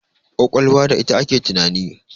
ƙwaƙwalwa da ita ake tunani